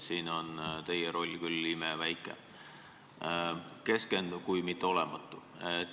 Siin on teie roll küll imeväike kui mitte olematu.